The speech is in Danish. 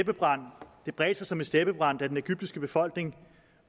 bredte sig som en steppebrand da den egyptiske befolkning